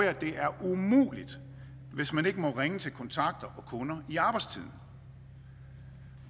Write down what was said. at det er umuligt hvis man ikke må ringe til kontakter og kunder i arbejdstiden